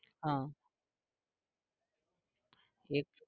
હા એક